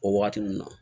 O waati ninnu na